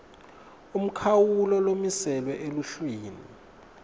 umkhawulo lomiselwe eluhlwini